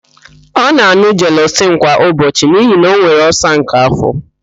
Ọ na-an̄ụ jelọsịl kwa ụbọchị n'ihi na ọ nwere ọlsa nke afọ.